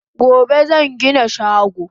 Gobe zan gina shago